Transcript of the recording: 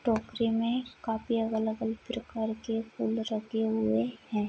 टोकरी मे काफी अलग-अलग प्रकार के फूल रखे हुए है।